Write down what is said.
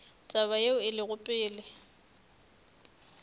taba yeo e lego pele